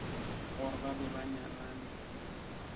gore ba be ba nyalane